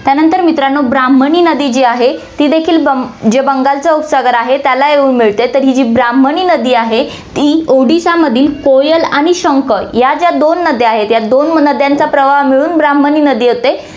त्यानंतर मित्रांनो, ब्राह्मणी नदी जी आहे, ती देखील बंग~ जे बंगालचा उपसागर आहे त्याला येऊन मिळते, तर ही जी ब्राह्मणी नदी आहे, ती उडीसामधील कोयल आणि शंख या ज्या दोन नद्या आहे, या दोन नद्यांचा प्रवाह मिळून ब्राह्मणी नदी होते.